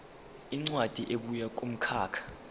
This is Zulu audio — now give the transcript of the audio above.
incwadi ebuya kumkhakha